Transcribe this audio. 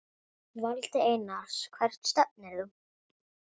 Valdi Einars Hvert stefnir þú?